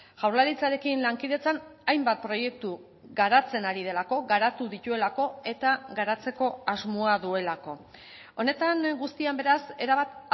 jaurlaritzarekin lankidetzan hainbat proiektu garatzen ari delako gara tu dituelako eta garatzeko asmoa duelako honetan guztian beraz erabat